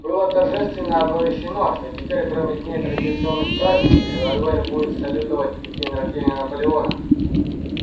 было торжественно оповещено что теперь кроме дней традиционных празднеств револьвер будет салютовать и в день рождения наполеона